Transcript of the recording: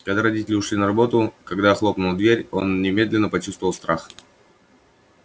когда родители ушли на работу когда хлопнула дверь он немедленно почувствовал страх